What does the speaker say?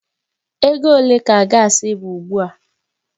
Ego ole ka gaasi bụ ugbu a?